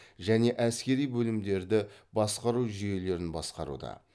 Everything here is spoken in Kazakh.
және әскери бөлімдерді басқару жүйелерін басқаруда